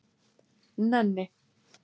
Nenni